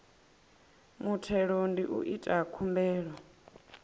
muthelo ndi u ita khumbelo